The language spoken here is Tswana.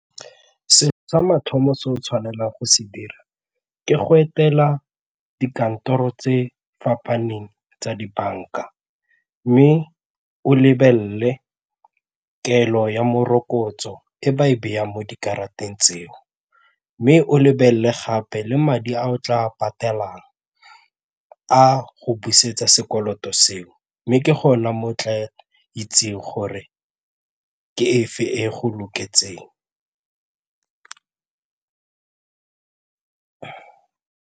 Selo sa mathomo se o tshwanelang go se dira ke go etela dikantoro tse fapaneng tsa dibanka mme o lebelele kelo ya morokotso e ba e byang mo dikarata tseo mme o lebelele gape le madi a o tla a patelang a go busetsa sekoloto seo mme ke gona mo tla itseng gore ke e fe e go loketseng.